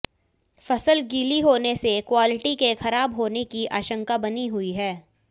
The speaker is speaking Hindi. फसल गीली होने से क्वालिटी के खराब होने की आशंका बनी हुई है